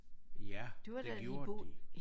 Ja det gjorde de